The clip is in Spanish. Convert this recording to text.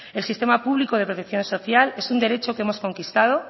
el sistema público de protección social es un derecho que hemos conquistado